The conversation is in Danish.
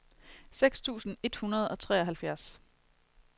seks tusind et hundrede og treoghalvfjerds